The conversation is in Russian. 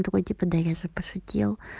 такой типа да я же пошутил